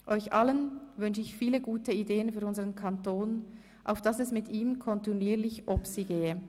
Euch allen wünsche ich viele gute Ideen für unseren Kanton, auf dass es mit ihm kontinuierlich «obsi» gehe.